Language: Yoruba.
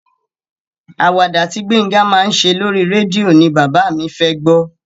Àwàdà tí Gbénga máa ṣe lóri rédíò ni bàbá mi fẹ́ gbọ́.